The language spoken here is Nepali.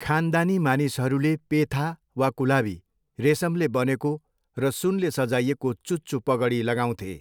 खानदानी मानिसहरूले पेथा वा कुलावी, रेसमले बनेको र सुनले सजाइएको चुच्चो पगडी लगाउँथे।